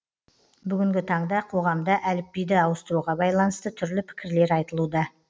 бүгінгі таңда қоғамда әліпбиді ауыстыруға байланысты түрлі пікірлер айтылуда